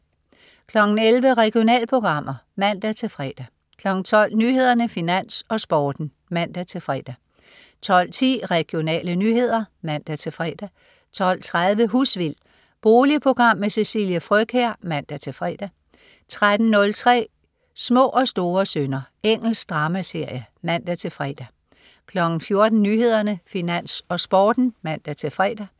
11.00 Regionalprogrammer (man-fre) 12.00 Nyhederne, Finans, Sporten (man-fre) 12.10 Regionale nyheder (man-fre) 12.30 Husvild. Boligprogram med Cecilie Frøkjær (man-fre) 13.05 Små og store synder. Engelsk dramaserie (man-fre) 14.00 Nyhederne, Finans, Sporten (man-fre)